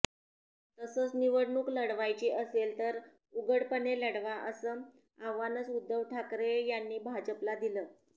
तसंच निवडणूक लढवायची असेल तर उघडपणे लढवा असं आव्हानचं उद्धव ठाकरे यांनी भाजपला दिलं